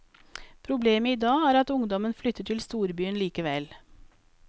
Problemet i dag er at ungdommen flytter til storbyen likevel.